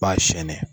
B'a sɛni